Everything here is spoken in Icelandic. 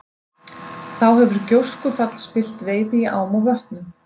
Þá hefur gjóskufall spillt veiði í ám og vötnum.